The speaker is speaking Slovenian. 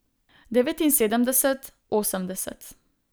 Devetinsedemdeset, osemdeset.